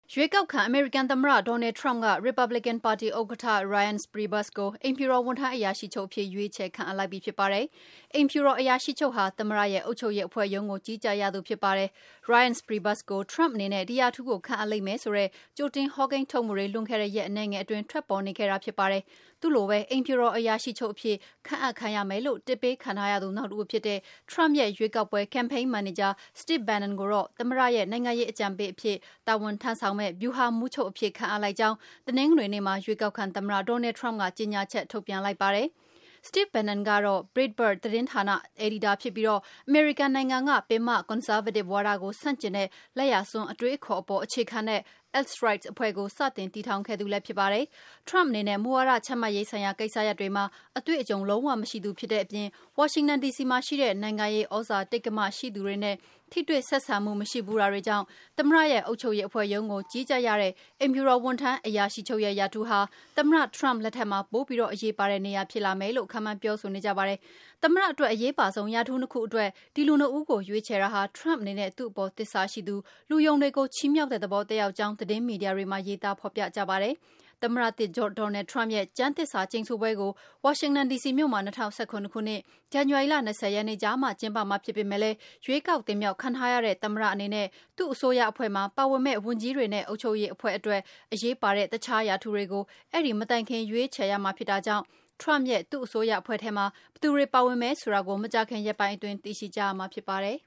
ရွေးကောက်ခံ အမေရိကန်သမ္မတ Donald Trump က Republican ပါတီ ဥက္ကဋ္ဌ Reince Priebus ကို အိမ်ဖြူတော် ဝန်ထမ်း အရာရှိချုပ်အဖြစ် ရွေးချယ် ခန့်အပ်လိုက်ပြီ ဖြစ်ပါတယ်။ အိမ်ဖြူတော် အရာရှိချုပ်ဟာ သမ္မတရဲ့ အုပ်ချုပ်ရေးအဖွဲ့ ရုံးကို ကြီးကြပ်ရသူ ဖြစ်ပါတယ်။ Reince Priebus ကို Trump အနေနဲ့ ဒီရာထူးကို ခန့်အပ်လိမ့်မယ်ဆိုတဲ့ ကြိုတင် ဟောကိန်းထုတ်မှုတွေ လွန်ခဲ့တဲ့ ရက်အနည်းငယ်အတွင်း ထွက်ပေါ်နေခဲ့တာ ဖြစ်ပါတယ်။ သူ့လိုပဲ အိမ်ဖြူတော် အရာရှိချုပ်အဖြစ် ခန့်အပ်ခံရမယ်လို့ တစ်ပေးခံထားရသူ နောက်တဦးဖြစ်တဲ့ Trump ရဲ့ ရွေးကောက်ပွဲ Campaign မန်နေဂျာ Steve Bannon ကိုတော့ သမ္မတရဲ့ နိုင်ငံရေး အကြံပေးအဖြစ် တာဝန်ထမ်းဆောင်မယ့် ဗျူဟာမှူးချုပ်အဖြစ် ခန့်အပ်လိုက်ကြောင်း တနင်္ဂနွေနေ့မှာ ရွေးကောက်ခံသမ္မတ Donald Trump ကြေညာချက် ထုတ်ပြန်လိုက်ပါတယ်။ Steve Bannon ကတော့ Breitbart သတင်းဌာန အယ်ဒီတာဖြစ်ပြီး အမေရိကန်နိုင်ငံက ပင်မ ကွန်ဆာဗေးတစ် ဝါဒကို ဆန့်ကျင်တဲ့ လက်ယာစွန်း အတွေးအခေါ်အပေါ် အခြေခံတဲ့ Alt Right အဖွဲ့ကို စတင် တည်ထောင်ခဲ့သူလည်း ဖြစ်ပါတယ်။ Trump အနေနဲ့ မူဝါဒချမှတ်ရေးဆိုင်ရာ ကိစ္စရပ်တွေမှာ အတွေ့အကြုံ လုံး၀ မရှိသူ ဖြစ်တဲ့အပြင် ဝါရှင်တန် ဒီစီမှာရှိတဲ့ နိုင်ငံရေး သြဇာတိက္ကမ ရှိသူတွေနဲ့ ထိတွေ့ ဆက်ဆံမှု မရှိဘူးတာတွေကြောင့် သမ္မတရဲ့ အုပ်ချုပ်ရေးအဖွဲ့ ရုံးကို ကြီးကြပ်ရတဲ့ အိမ်ဖြူတော် ဝန်ထမ်းအရာရှိချုပ်ရဲ့ ရာထူးဟာ သမ္မတ Trump လက်ထက်မှာ ပိုပြီး အရေးပါတဲ့ နေရာ ဖြစ်လာမယ်လို့ ခန့်မှန်း ပြောဆိုနေကြပါတယ်။ သမ္မတအတွက် အရေးအပါဆုံး ရာထူး ၂ ခုအတွက် ဒီ လူ ၂ ဦးကို ရွေးချယ်တာဟာ Trump အနေနဲ့ သူ့အပေါ် သစ္စာရှိသူ၊ လူယုံတွေကို ချီးမြောက်တဲ့သဘော သက်ရောက်ကြောင်း သတင်းမီဒီယာတွေမှာ ရေးသား ဖော်ပြကြပါတယ်။ သမ္မတသစ် Donald Trump ရဲ့ ကျမ်းသစ္စာကျိမ်ဆိုပွဲကို ဝါရှင်တန် ဒီစီမြို့မှာ ၂၀၁၇ ခုနှစ် ဇန်နဝါရီလ ၂၀ ရက်နေ့ကျမှ ကျင်းပမှာ ဖြစ်ပေမယ့်လည်း ရွေးကောက် တင်မြောက်ခံထားရတဲ့ သမ္မတ အနေနဲ့ သူ့အစိုးရအဖွဲ့မှာ ပါဝင်မယ့် ဝန်ကြီးတွေနဲ့ အုပ်ချုပ်ရေးအဖွဲ့အတွက် အရေးပါတဲ့ တခြား ရာထူးတွေကို အဲဒီ မတိုင်ခင် ရွေးချယ်ရမှာဖြစ်တာကြောင့် Trump ရဲ့ သူ့အစိုးရအဖွဲ့ထဲမှာ ဘယ်သူတွေ ပါဝင်မယ်ဆိုတာကို မကြာခင် ရက်ပိုင်းအတွင်း သိရှိကြရမှာ ဖြစ်ပါတယ်